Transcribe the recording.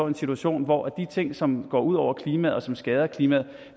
en situation hvor de ting som går ud over klimaet og som skader klimaet